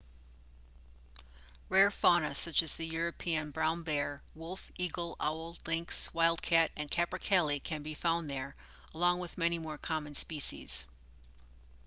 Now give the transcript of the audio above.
rare fauna such as the european brown bear wolf eagle owl lynx wild cat and capercaillie can be found there along with many more common species